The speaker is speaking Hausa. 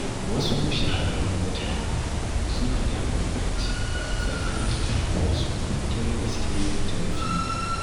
Wasu shahararrun mutane suna da bambanci tsakanin rayuwar su ta gaske da ta fili.